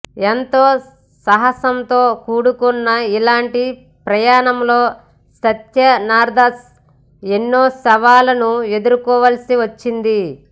ఎంతో సాహసంతో కూడుకున్న ఇలాంటి ప్రయాణంలో సత్యన్దాస్ ఎన్నో సవాళ్లను ఎదుర్కోవాల్సి వచ్చింది